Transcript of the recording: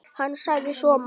Hann sagði svo margt.